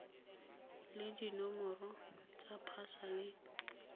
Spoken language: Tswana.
le dinomoro tsa pasa le